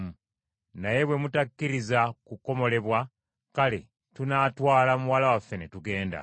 Naye bwe mutakkiriza kukomolebwa, kale tunaatwala muwala waffe ne tugenda.”